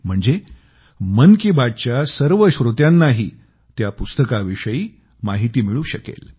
म्हणजे मन की बात च्या सर्व श्रोत्यांनाही त्या पुस्तकाविषयी माहिती मिळू शकेल